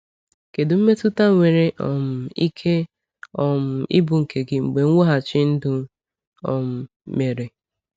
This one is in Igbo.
Kedu mmetụta nwere um ike um ịbụ nke gị mgbe mweghachi ndụ um mere?